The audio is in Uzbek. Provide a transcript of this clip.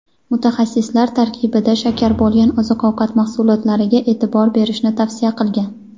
mutaxassislar tarkibida shakar bo‘lgan oziq-ovqat mahsulotlariga e’tibor berishni tavsiya qilgan.